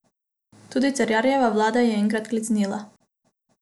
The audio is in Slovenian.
Tudi Cerarjeva vlada je enkrat klecnila.